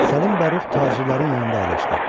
Səlim Bərux tacirlərin yanında əyləşdi.